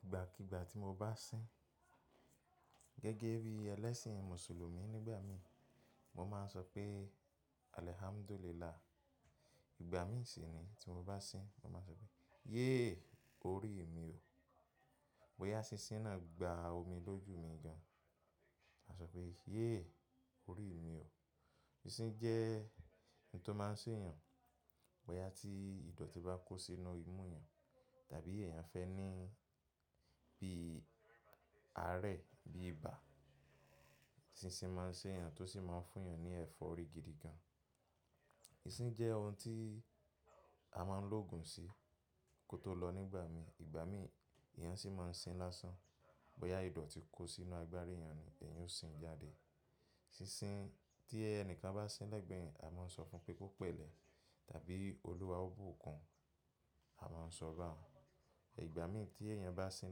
Ìgbàkígbà tí mo bá sín gẹ́gẹ́ bí ẹlẹ́sìn mùsùlùmí nígbà míhìn mo máa ń sọ pé àlẹ̀ hámdúlìlaà. Ìgbà míì sí nìí tí mo bá sín, mo máa sọ pé yé orí mi ò, bóyá sísín náà gba omi lójú mi gan an. A sọ pé yéè orí mi ò. Sísín jẹ́ ohun tó máa ń ṣe èèyàn, bóyá tí ìdọ̀tí bá kó sí inú imú èèyàn tàbí èèyàn fẹ́ ní bíi àárẹ̀, bí ibà. Sísín máa ń ṣe èèyàn tó sì máa ń fún èèyàn ní ẹ̀fọ́rí gidi gan. Sísín jẹ́ ohun tí a máa ń lóògùn sí kó tó lọ nígbà míhìn. Ìgbà míhìn èèyàn sì máa ń sín lásán, bóyá ìdọ̀tí kó sínú agbárí èèyàn ni, èèyàn ó sín jáde. Sísín tí ẹni kan bá sín lẹ́gbẹ̀ẹ́ èèyàn, a máa ń sọ fún pé kó pẹ̀lẹ́ tàbí Olúwa ó bùkun, a máa ń sọ bá hun. Ìgbà míhìn tí èèyàn bá sín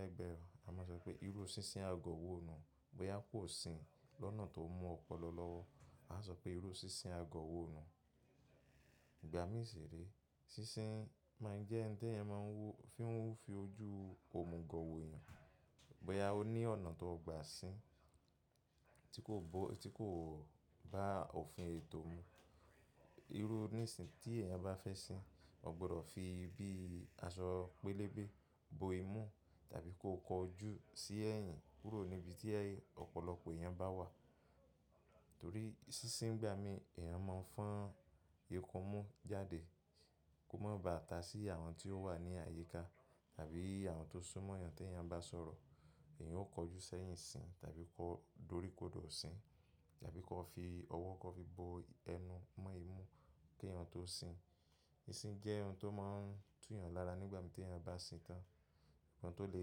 lẹ́gbẹ̀ẹ́ wa, a máa sọ pé irúu sísín agọ̀ wo nùhun, bóyá kò sín lọ́nà tó mú ọpọlọ lọ́wọ́. Àá sọ pé irúu sísín agọ̀ wó nùhun. Ìgbà míì sì re, sísín máa ń jẹ́ hin téyàn máa ń wò, tí wọ́ń ń fi ojú òmugọ̀ wòòyàn, bóyá ó ní ọ̀nà tóo gbà sín, tí kòbó, tí kòbá òfin ètò mu. Irú nísinhín tí èèyàn bá fẹ́ sín, ó gbọdọ̀ fi bí aṣọ pélébé bo imú tàbí kó kọjú sí ẹ̀yìn kúrò níbi tí ọ̀pọ̀lọpọ̀ èèyàn bá wà. Torí sísín ńgbà mí èèyàn máa ń fọn ikunmú jáde kó má ba à ta sí àwọn tí ó wà ní àyíká tàbí àwọn tó sún mọ́ háń yàn tí èèyàn ń bá sọ̀rọ̀. Èèyàn ó kọjú sẹ́yìn sín tàbí kó dóríkodo sín tàbí kọ́ọ fi ọwọ́ kọ́ọ fi bo ẹnu mọ́ imú kí èèyàn tó sín. Sísín jẹ́ ohun tó máa ń tú èèyàn lára nígbà tí èèyàn bá sín tán. Ohun tó le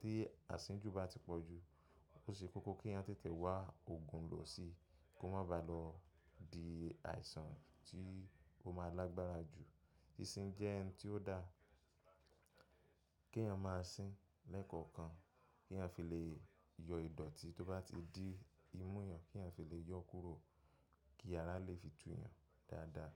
tí àsínjù bá ti pọ̀jù, ó ṣe kókó kí èèyàn tètè wá òògùn lò si kó má ba lọ di àìsàn tí ó máa lágbára jù. Sísín jẹ́ hin tí ó dáa kí èèyàn máa sín lẹ́ẹ̀kọ̀kan kí èèyàn fi lè yọ ìdọ̀tí tó bá ti di imú èèyàn, kí èèyàn fi lè yọ́ kúrò kí ara lè fi tú èèyàn dáadáa.